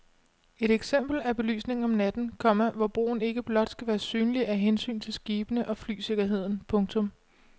Et eksempel er belysningen om natten, komma hvor broen ikke blot skal være synlig af hensyn til skibene og flysikkerheden. punktum